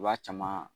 I b'a caman